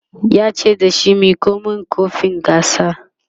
yace da shi"Miko min kofin gasar!"